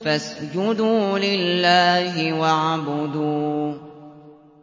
فَاسْجُدُوا لِلَّهِ وَاعْبُدُوا ۩